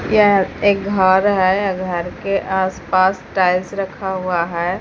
यह एक घर है। घर के आस पास टायल्स रखा हुआ है।